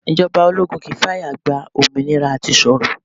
Ìjọba ológun kì i fàyà gba òmìnira à ti sọ̀rọ̀.